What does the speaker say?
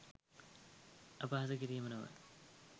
අපහාසකිරීම නොව